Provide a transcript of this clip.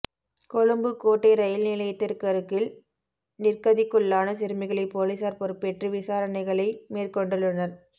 கொழும்பு கோட்டை ரயில் நிலையத்திற்கருகில் நிர்க்கதிக்குள்ளான சிறுமிகளை பொலிஸார் பொறுப்பேற்று விசாரணைகளை மேற்கொண்டுள்ளனர்